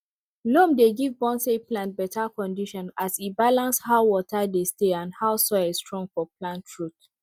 loam dey give bonsai plants better condition as e balance how water dey stay and how soil strong for plant root